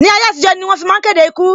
Ni ayé àtijó, ẹnu ni wọ́n fi ń máa ń kéde ikú